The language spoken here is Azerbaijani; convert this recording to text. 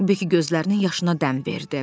Bekki gözlərinin yaşına dəm verdi.